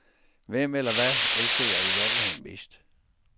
Hvem eller hvad elsker jeg i virkeligheden mest?